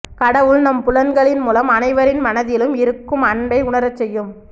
கடவுள் நம் புலன்களின் மூலம் அனைவரின் மனத்திலும் இருக்கும் அன்பை உணரச்செய்யும்